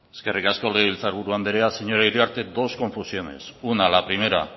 eskerrik asko legebiltzar buru andrea señora iriarte dos confusiones una la primera